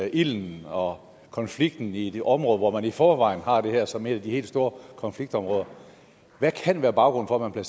ilden og konflikten i det område hvor man i forvejen har det her som et af de helt store konfliktområder hvad kan være baggrunden